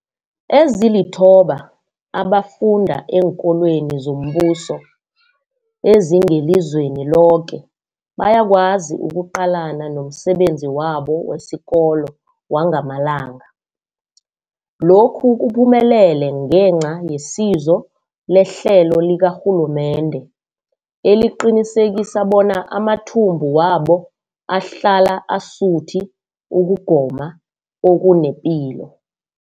Ezilithoba abafunda eenkolweni zombuso ezingelizweni loke bayakwazi ukuqalana nomsebenzi wabo wesikolo wangamalanga. Lokhu kuphumelele ngenca yesizo lehlelo likarhulumende eliqinisekisa bona amathumbu wabo ahlala asuthi ukugoma okunepilo.